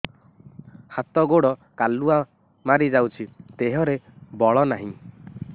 ହାତ ଗୋଡ଼ କାଲୁଆ ମାରି ଯାଉଛି ଦେହରେ ବଳ ନାହିଁ